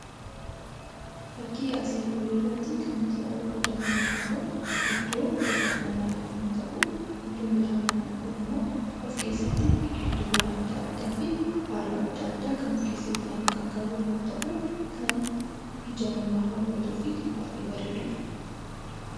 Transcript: Fakkii asii olii irratti kan nuti arguu dandeenyu kun iddoo bashannanaa yommuu ta'u, iddoon bashannanaa kunimmoo of keessatti biqiltuu adda addaa fi daraaraa adda addaa kan of keessatti qabatuu fi kan nama hawwatudha.